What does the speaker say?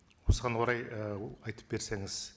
осыған орай ііі айтып берсеңіз